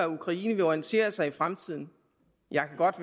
ukraine vil orientere sig i fremtiden jeg kan godt